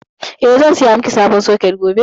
Eh, zan saya miki sabon soket gobe.